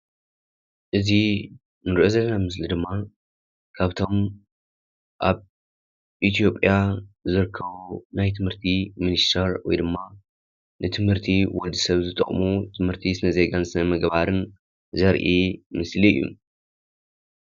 እዚ እንሪኦ ዘለና ምስሊ ድማ ካብቶም ኣብ ኢትዮጰያ ዝርከቡ ናይ ትምህርቲ ሚኒስቴር ወይ ድማ ንትምህርቲ ወዲሰብ ዝጠቅሙ ትምህርትን ስነ-ዜጋን ስነ-ምግባርን ዘርኢ ምስሊ እዩ።